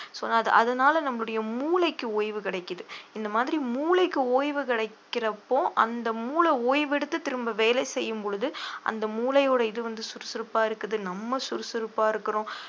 so அத~ அதனால நம்முடைய மூளைக்கு ஓய்வு கிடைக்குது இந்த மாதிரி மூளைக்கு ஓய்வு கிடைக்கிறப்போ அந்த மூளை ஓய்வெடுத்து திரும்ப வேலை செய்யும் பொழுது அந்த மூளையோட இது வந்து சுறுசுறுப்பா இருக்குது நம்ம சுறுசுறுப்பா இருக்கிறோம்